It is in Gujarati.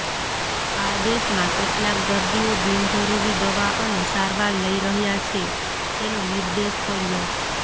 આ દેશમાં કેટલાક દર્દીઓ બીનજરૂરી દવા અને સારવાર લઈ રહ્યા છે તેનો નિર્દેશ કર્યો